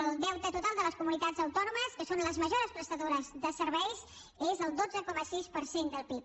el deute total de les comunitats autònomes que són les majors prestadores de serveis és el dotze coma sis per cent del pib